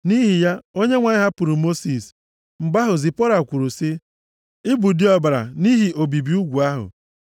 Nʼihi ya, Onyenwe anyị hapụrụ Mosis. (Mgbe ahụ, Zipọra kwuru sị, “Ị bụ di ọbara,” nʼihi obibi ugwu ahụ.)